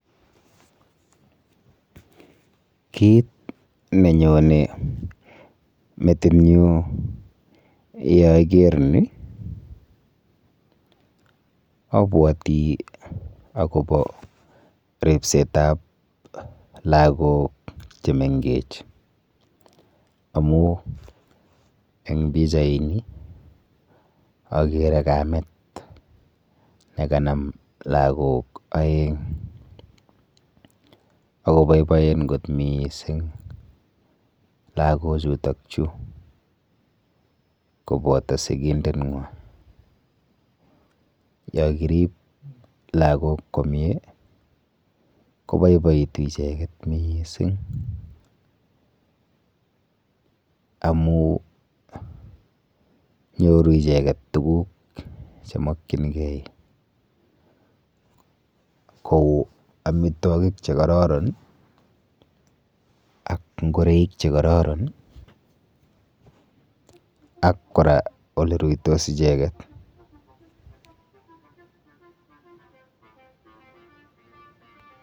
Kit nenyone metinyu yeaker ni abwoti akopo ripsetap lagok chemengech amu eng bichaini akere kamet nekanam lagok oeng akoboiboen mising lakochu kopoto sikindeng'wa. Yokirip lagok komie koboiboitu icheket miising amu nyoru icheket tuguk chemokchingei kou amitwokik chekororon ak ngoreik chekororon ak kora oleruitos icheket.